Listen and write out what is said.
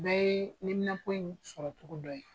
Bɛɛ ye neminanpo in sɔrɔ cogo dɔ ye.